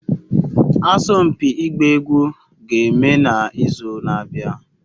Asompi igba egwu ga-eme na izu na-abia